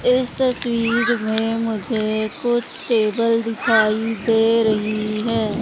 इस तस्वीर मे मुझे कुछ टेबल दिखाई दे रही है।